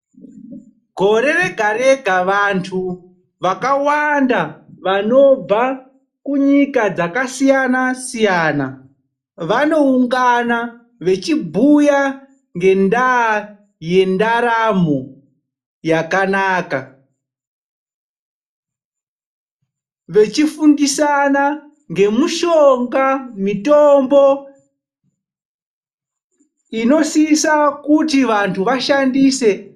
Gore rega rega vantu vakawanda vanobva kunyika dzakasiyana siyana, vanoungana vachibhuya ngendaa yendaramo yakanaka, vachifundisana ngemitombo inosisa kuti vantu vashandise.